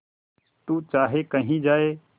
तू चाहे कही जाए